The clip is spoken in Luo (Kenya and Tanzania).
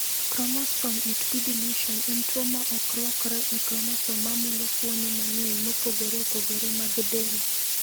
"Kromosom 8p deletion en tuwo ma ok rwakore e kromosom ma mulo fuoni mang’eny mopogore opogore mag del."